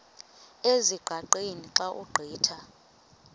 ezingqaqeni xa ugqitha